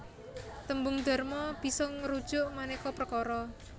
Tembung dharma bisa ngrujuk manéka perkara